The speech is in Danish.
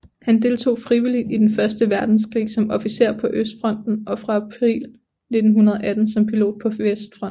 Han deltog frivilligt i Den første verdenskrig som officer på østfronten og fra april 1918 som pilot på vestfronten